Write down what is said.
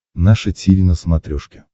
наше тиви на смотрешке